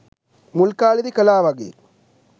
මුල් කාලේදී කළා වගේ